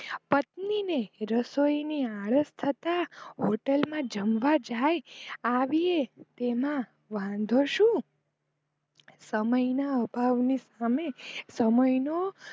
પત્ની ને રસોઈની આળસ કરતા hotel માં જમવા જાય છે આવીયે તેમાં વાંધો શું સમય ના અભાવ ના સામે સમય નો